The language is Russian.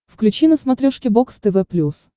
включи на смотрешке бокс тв плюс